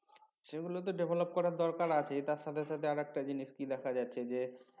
সেগুলো তো develop করার দরকার আছেই তার সাথে সাথে আর একটা জিনিস কি দেখা যাচ্ছে যে